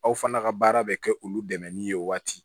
Aw fana ka baara bɛ kɛ olu dɛmɛnni ye waati